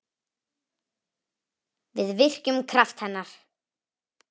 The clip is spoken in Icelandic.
Við virkjum kraft hennar.